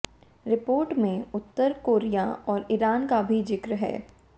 report में उत्तर Korea और ईरान का भी जिक्र है